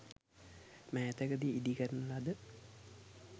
මෑතකදී ඉදි කරන ලද